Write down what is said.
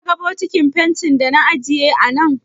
Ka ga bokitin fentin da na ajiye a nan?